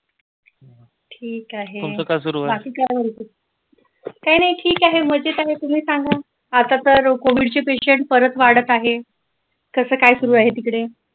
ठीक आहे बाकी काय बोलता काही नाही ठीक आहे मजेत आहे तुम्ही सांगा आता तर कोविडचे patient परत वाढत आहे कस काय सुरु आहे तिकडे